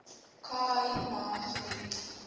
khai ma gebied